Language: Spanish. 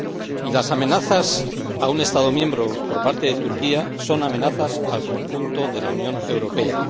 Y las amenazas a un Estado miembro por parte de Turquía son amenazas al conjunto de la Unión Europea.